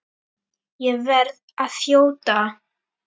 Ég verð að þjóta!